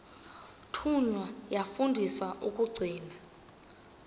thunywa yafundiswa ukugcina